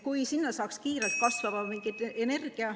Kui sinna saaks kiirelt kasvava mingi energia ...